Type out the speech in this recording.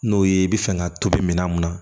N'o ye i bɛ fɛ ka tobi minɛn mun na